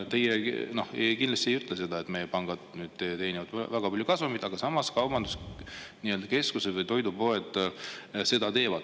Teie ei ütle seda, et meie pangad teenivad väga palju kasumit, aga samas ütlete, et kaubanduskeskused või toidupoed seda teevad.